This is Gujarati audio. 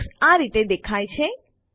એલેક્સ આ રીતે દેખાય છે